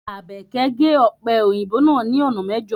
Abeke ge ọpe oyinbo naa ni ona mẹjo